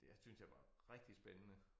Det er syntes jeg var rigtig spændende